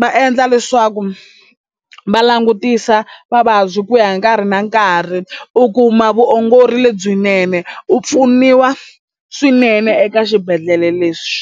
va e endla leswaku va langutisa vavabyi ku ya hi nkarhi na nkarhi u kuma vuongori lebyinene u pfuniwa swinene eka xibedhlele leswi.